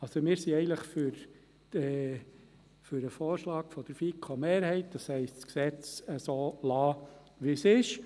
Also: Wir sind eigentlich für den Vorschlag der FiKo-Mehrheit, das heisst, das Gesetz so zu lassen, wie es ist.